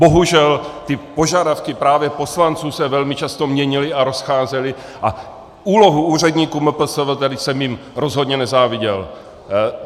Bohužel ty požadavky právě poslanců se velmi často měnily a rozcházely a úlohu úředníků MPSV jsem jim rozhodně nezáviděl.